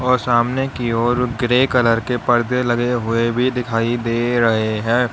और सामने की ओर ग्रे कलर के परदे लगे हुए भी दिखाई दे रहे हैं।